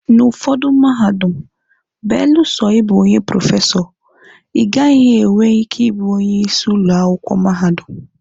N'ụfọdụ mahadum, belụsọ ịbụ onye prọfesọ, ịgaghị enwe ike ịbụ onye isi ụlọ akwụkwọ mahadum.